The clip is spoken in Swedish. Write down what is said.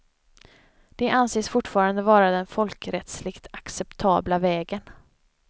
Det anses fortfarande vara den folkrättsligt acceptabla vägen.